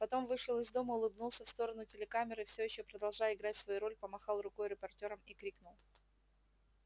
потом вышел из дома улыбнулся в сторону телекамеры всё ещё продолжая играть свою роль помахал рукой репортёрам и крикнул